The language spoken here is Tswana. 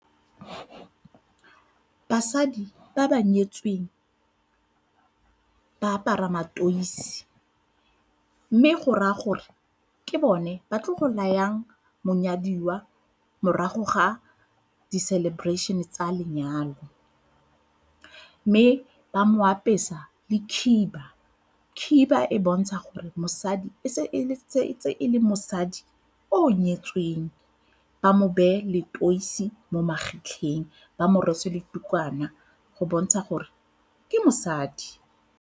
Basadi ba ba nyetsweng ba apara matoisi mme go raya gore ke bone ba tlo go layang monyadiwa morago ga di-celebration-e tsa lenyalo. Mme ba mo apesa le khiba, khiba e bontsha gore mosadi ntse e le mosadi o o nyetsweng ba mo beye leteisi mo magetleng ba mo rwesa le ditukwana go bontsha gore ke mosadi.